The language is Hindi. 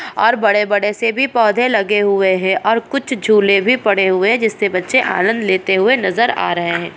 और बड़े-बड़े से भी पौधे लगे हुए है और कुछ झूले भी पड़े हुए है जिससे बच्चे आनंद लेते हुए नजर आ रहे है।